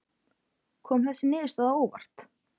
Kom þessi niðurstaða á óvart?